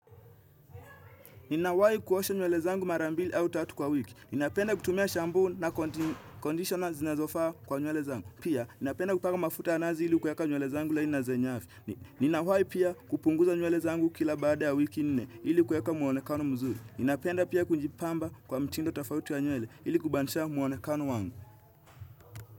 Ninawai kuosha nywele zangu mara mbili au tatu kwa wiki. Ninapenda kutumia shampuu na conditioner zinazofaa kwa nywele zangu. Pia, Ninawai pia kupunguza nywele zangu kila baada ya wiki nne ili kueka muonekano mzuri. Napenda pia kujipamba kwa mtindo tofauti wa nywele ili kubadilisha muonekano wangu.